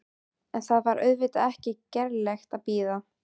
En það var auðvitað ekki gerlegt að bíða.